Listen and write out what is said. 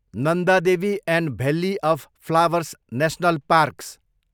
Nanda Devi and valley of flowers national parks